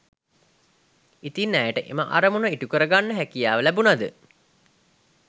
ඉතින් ඇයට එම අරමුණ ඉ‍ටුකරගන්න හැකියාව ලැබුණද